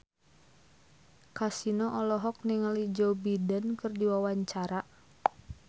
Kasino olohok ningali Joe Biden keur diwawancara